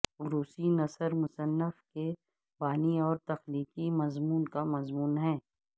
روسی نثر مصنف کے بانی اور تخلیقی مضمون کا مضمون ہے